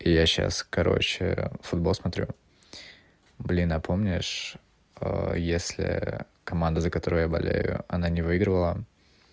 я сейчас короче футбол смотрю блин а помнишь если команда за которую я болею она не выиграла